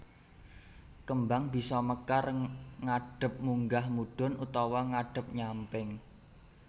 Kembang bisa mekar ngadhep munggah mudhun utawa ngadhep nyamping